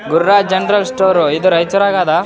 Gururaj general store ಇದು ರೈಚೂರಗೆ ಅದ --